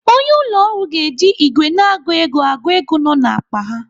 Onye ụlọ ọrụ ga-eji ìgwè na-agụ ego agụ ego nọ n'akpa a.